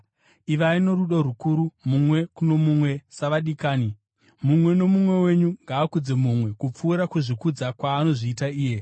Ivai norudo rukuru mumwe kuno mumwe savadikani. Mumwe nomumwe wenyu ngaakudze mumwe kupfuura kuzvikudza kwaanozviita iye.